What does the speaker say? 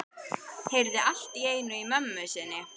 Heyrði allt í einu í mömmu sinni.